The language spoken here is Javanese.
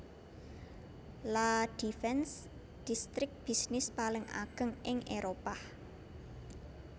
La Défense distrik bisnis paling ageng ing Éropah